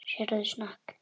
Sérðu snák?